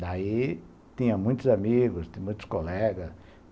Daí tinha muitos amigos, muitos colegas.